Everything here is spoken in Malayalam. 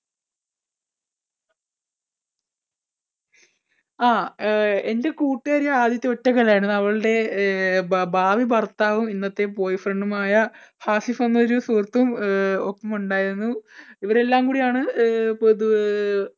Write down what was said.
ആ എൻടെ കൂട്ടുകാരി ആദിത്യ ഒറ്റയ്ക്കല്ലായിരുന്നു. അവളുടെ ഭാ ഭാവി ഭർത്താവും ഇന്നത്തെ boy friend മായ ആസിഫ് എന്നൊരു സുഹൃത്തും അഹ് ഒപ്പം ഉണ്ടായിരുന്നു. ഇവരെല്ലാം കൂടിയാണ്